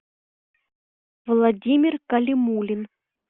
владимир калимулин